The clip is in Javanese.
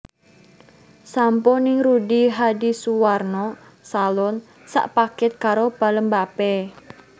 Sampo ning Rudy Hadisuwarno Salon sak paket karo pelembape